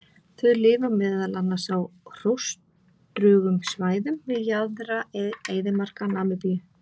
Þau lifa meðal annars á hrjóstrugum svæðum við jaðra eyðimarka Namibíu.